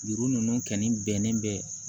Juru ninnu kɔni bɛnnen bɛ